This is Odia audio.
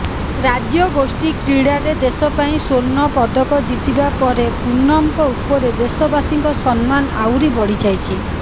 ରାଜ୍ୟଗୋଷ୍ଠୀ କ୍ରୀଡ଼ାରେ ଦେଶ ପାଇଁ ସ୍ବର୍ଣ୍ଣ ପଦକ ଜିତିବା ପରେ ପୁନମଙ୍କ ଉପରେ ଦେଶବାସୀଙ୍କ ସମ୍ମାନ ଆହୁରି ବଢ଼ିଯାଇଛି